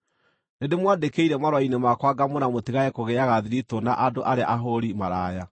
Nĩndĩmwandĩkĩire marũa-inĩ makwa ngamwĩra mũtigage kũgĩaga thiritũ na andũ arĩa ahũũri maraya,